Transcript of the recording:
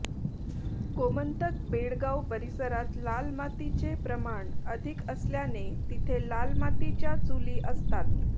गोमंतक बेळगाव परिसरात लाल मातीचे प्रमाण अधिक असल्याने तिथे लाल मातीच्या चुली असतात